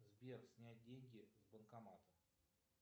сбер снять деньги с банкомата